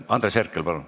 Andres Herkel, palun!